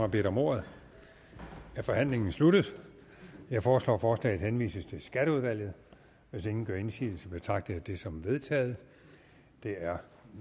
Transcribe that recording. har bedt om ordet er forhandlingen sluttet jeg foreslår at forslaget henvises til skatteudvalget hvis ingen gør indsigelse betragter jeg det som vedtaget det er